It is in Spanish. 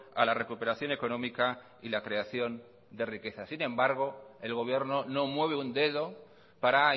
a la recuperación económica y la creación de riqueza sin embargo el gobierno no mueve un dedo para